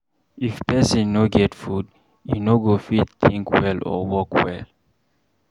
If pesin no get food, e no go fit think well or work well.